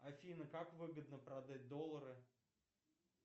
афина как выгодно продать доллары